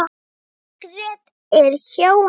Margrét er hjá henni.